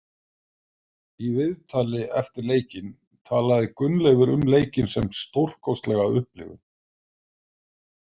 Í viðtali eftir leikinn talaði Gunnleifur um leikinn sem stórkostlega upplifun.